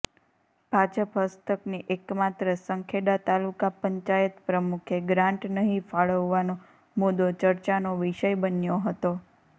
ભાજપ હસ્તકની એકમાત્ર સંખેડા તાલુકા પંચાયત પ્રમુખે ગ્રાંટ નહીં ફાળવવાનો મુદ્દો ચર્ચાનો વિષય બન્યો હતો